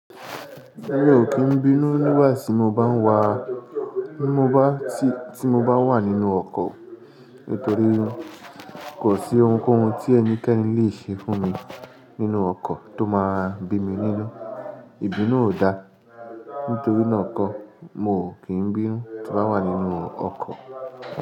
Mi ò kí ń bínú nígbà tí mo bá ń wa, tí mo bá, tí mo bá wà nínú ọkọ̀ nítorí kò sí ohunkóhun tí ẹnikẹ́ni lè ṣe fún mi nínú ọkọ̀ tó máa bí mi nínú. Ìbínú ò da, nítorí náà ńkọ́ mo ò kí ń bínú tí mo bá wà nínú ọkọ̀